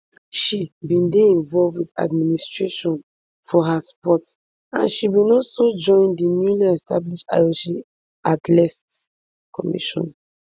she bin dey involved wit administration for her sport and she bin also join di newly established ioc athletes commission